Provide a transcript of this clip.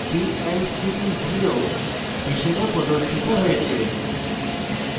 হিসাবে প্রদর্শিত হয়েছে